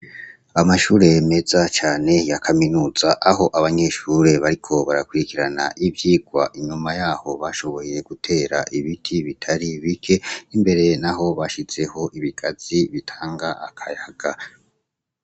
Amashure meza cane ya kaminuza ,aho abanyeshure bariko barakurikirana ivyigwa. Inyuma y'aho bashoboye gutera ibiti bitari bike, imbere naho bashizeho ibigazi bitanga akayaga.